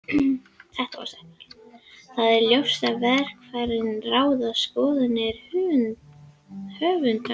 Þó er ljóst að í vafaatriðum ráða skoðanir höfundar.